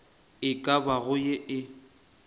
e ka bago ye e